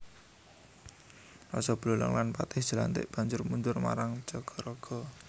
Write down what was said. Raja Buleleng lan Patih Jelantik banjur mundur marang Jagaraga